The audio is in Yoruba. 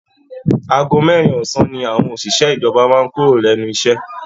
Àago mẹ́rin ọ̀sán ní àwọn òṣìṣẹ́ ìjọba máa ń kúrò lẹ́nu iṣẹ́